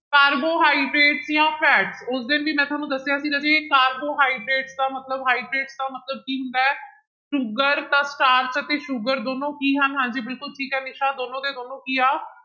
carbohydrates ਜਾਂ fat ਉਸ ਦਿਨ ਵੀ ਮੈਂ ਤੁਹਾਨੂੰ ਦੱਸਿਆ ਸੀ ਰਾਜੇ ਕਾਰੋਬੋਹਾਈਡ੍ਰੇਟ ਦਾ ਮਤਲਬ ਹਾਈਡ੍ਰੇਟ ਦਾ ਮਤਲਬ ਕੀ ਹੁੰਦਾ ਹੈ, ਸ਼ੂਗਰ plus ਸਟਾਰਚ ਅਤੇ ਸ਼ੂਗਰ ਦੋਨੋਂ ਕੀ ਹਨ ਹਾਂਜੀ ਬਿਲਕੁਲ ਠੀਕ ਹੈ ਨਿਸਾ ਦੋਨੋਂ ਦੇ ਦੋਨੋਂ ਕੀ ਆ,